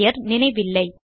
பெயர் நினைவில்லை